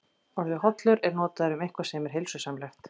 Orðið hollur er notað um eitthvað sem er heilsusamlegt.